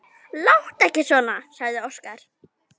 Láttu ekki svona, sagði Óskar.